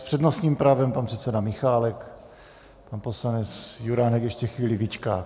S přednostním právem pan předseda Michálek, pan poslanec Juránek ještě chvíli vyčká.